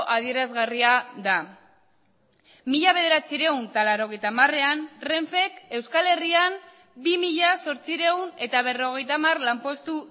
adierazgarria da mila bederatziehun eta laurogeita hamarean renfek euskal herrian bi mila zortziehun eta berrogeita hamar lanpostu